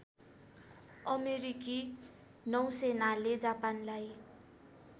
अमेरिकी नौसेनाले जापानलाई